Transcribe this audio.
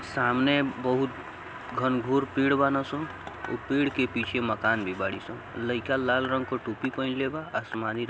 सामने बहुत घनघोर पेड़ बानी स| ओ पेड़ के पीछे मकान भी बाड़ी स| लइका लाल रंग क टोपी पहिनले बा| आसमानी रंग के--